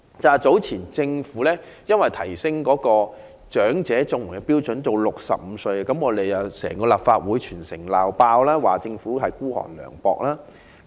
政府早前把長者綜援的申領年齡調高至65歲，整個立法會和全城"鬧爆"，認為政府孤寒涼薄。